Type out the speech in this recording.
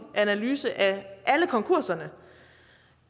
analyse af alle konkurserne